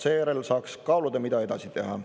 Seejärel saaks kaaluda, mida edasi teha.